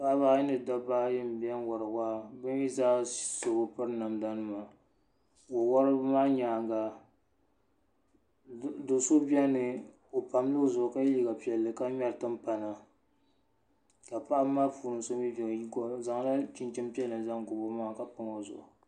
paɣaba ayi ni dabba ayi n biɛni wori waa bi mii zaa so bi piri namda nima wo woribi maa nyaanga do so biɛni o pamla o zuɣu ka yɛ liiga piɛlli ka ŋmɛri timpana ka paɣaba maa puuni so mii biɛni o zaŋla chinchini piɛlli zaŋ gobi o maŋa ka pam o zuɣu